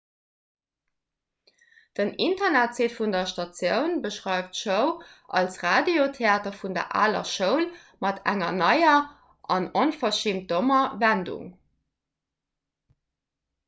den internetsite vun der statioun beschreift d'show als radiotheater vun der aler schoul mat enger neier an onverschimmt dommer wendung